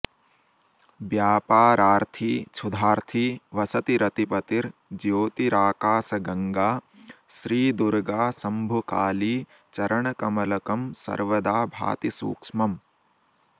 व्यापारार्थी क्षुधार्थी वसति रतिपतिर्ज्योतिराकाशगङ्गा श्रीदुर्गाशम्भुकालीचरणकमलकं सर्वदा भाति सूक्ष्मम्